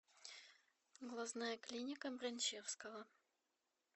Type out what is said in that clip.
глазная клиника бранчевского